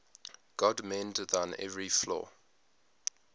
god mend thine every flaw